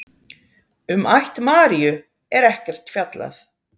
Um ætt Maríu er ekkert fjallað.